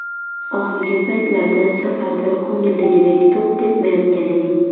Oxirgi paytlarda safarda ko‘ngildagidek to‘p tepmayotgan edik.